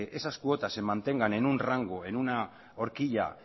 esas cuotas se mantengan en una orquilla